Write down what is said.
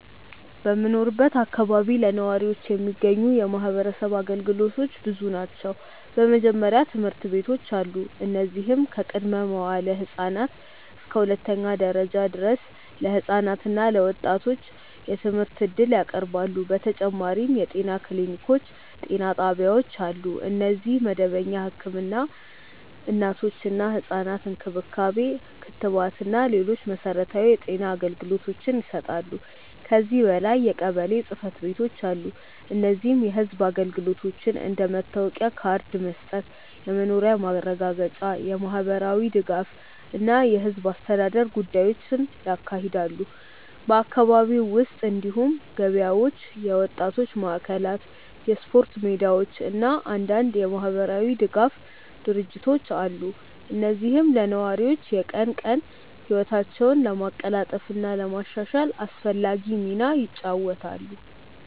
በምኖርበት አካባቢ ለነዋሪዎች የሚገኙ የማህበረሰብ አገልግሎቶች ብዙ ናቸው። በመጀመሪያ ትምህርት ቤቶች አሉ፣ እነዚህም ከቅድመ-መዋዕለ ህፃናት እስከ ሁለተኛ ደረጃ ድረስ ለህፃናት እና ለወጣቶች የትምህርት እድል ያቀርባሉ። በተጨማሪም የጤና ክሊኒኮች እና ጤና ጣቢያዎች አሉ፣ እነዚህም መደበኛ ህክምና፣ እናቶችና ህፃናት እንክብካቤ፣ ክትባት እና ሌሎች መሠረታዊ የጤና አገልግሎቶችን ይሰጣሉ። ከዚህ በላይ የቀበሌ ጽ/ቤቶች አሉ፣ እነዚህም የህዝብ አገልግሎቶችን እንደ መታወቂያ ካርድ መስጠት፣ የመኖሪያ ማረጋገጫ፣ የማህበራዊ ድጋፍ እና የህዝብ አስተዳደር ጉዳዮችን ያካሂዳሉ። በአካባቢው ውስጥ እንዲሁም ገበያዎች፣ የወጣቶች ማዕከላት፣ የስፖርት ሜዳዎች እና አንዳንድ የማህበራዊ ድጋፍ ድርጅቶች አሉ፣ እነዚህም ለነዋሪዎች የቀን ቀን ህይወታቸውን ለማቀላጠፍ እና ለማሻሻል አስፈላጊ ሚና ይጫወታሉ።